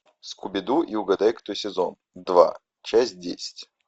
скуби ду и угадай кто сезон два часть десять